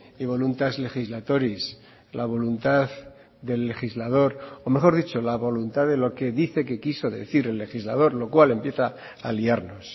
y voluntas legislatoris la voluntad del legislador o mejor dicho la voluntad de lo que dice que quiso decir el legislador lo cual empieza a liarnos